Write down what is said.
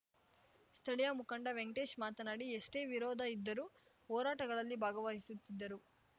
ಸ್ಥಳೀಯ ಮುಖಂಡ ವೆಂಕಟೇಶ್ ಮಾತನಾಡಿ ಎಷ್ಟೇ ವಿರೋಧ ಇದ್ದರೂ ಹೋರಾಟಗಳಲ್ಲಿ ಭಾಗವಹಿಸುತ್ತಿದ್ದರು